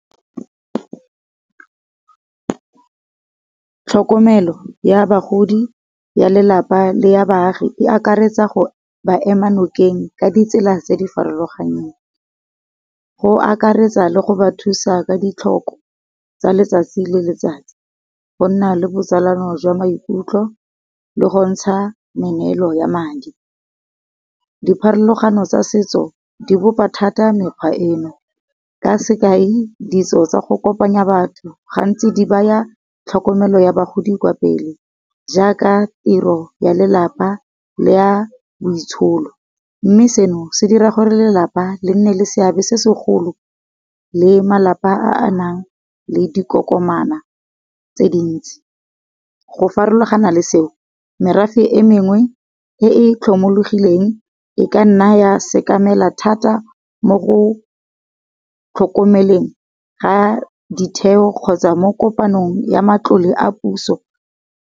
Tlhokomelo ya bagodi, ya lelapa le ya baagi e akaretsa go ba ema nokeng ka ditsela tse di farologaneng. Go akaretsa le go ba thusa ka di tlhoko tsa letsatsi le letsatsi, go nna le bo tsalano jwa maikutlo le go ntsha me neelo ya madi, dipharologano tsa setso di bopa thata mekgwa eno. Ka sekai ditso tsa go kopanya batho gantsi di baya tlhokomelo ya bagodi kwa pele. Jaaka tiro ya lelapa le ya boitsholo, mme seno se dira gore lelapa le nne le seabe se segolo le malapa a nang le dikokomana tse dintsi. Go farologana le seo merafe e mengwe e e tlhomologileng e ka nna ya sekamela thata mo go tlhokomeleng ga ditheo kgotsa mo kopanong ya matlole a puso.